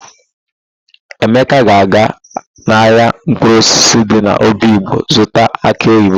Emeka ga-aga n'ahịa mkpụrụosisi dị n'obigbo ịzụta akị oyibo.